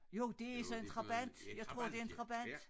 Jo det sådan en Trabant jeg tror det er en Trabant